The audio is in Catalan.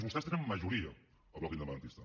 vostès tenen majoria al bloc independentista